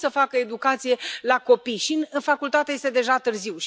Cum să facă educație la copii? Iar în facultate este deja târziu.